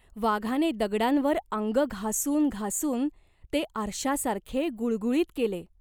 वाघाने दगडांवर आंग घासून घासून ते आरशासारखे गुळगुळीत केले.